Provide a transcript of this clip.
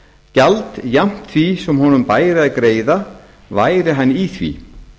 gjald jafnt því sem honum bæri að greiða væri hann í því